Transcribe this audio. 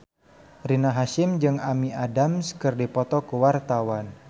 Rina Hasyim jeung Amy Adams keur dipoto ku wartawan